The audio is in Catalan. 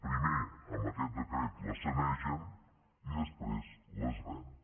primer amb aquest decret les sanegen i després les venen